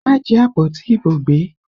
Má jí àpótí ìbò gbé!